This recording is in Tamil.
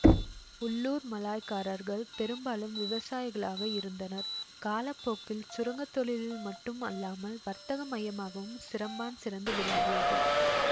உள்ளூர் மலாய்க்காரர்கள் பெரும்பாலும் விவசாயிகளாக இருந்தனர் காலப்போக்கில் சுரங்க தொழிலில் மட்டும் அல்லாமல் வர்த்தக மையமாகவும் சிரம்பான் சிறந்து விளங்கியது